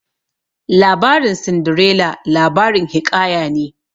Labarin Sindirela labarin hiƙaya ne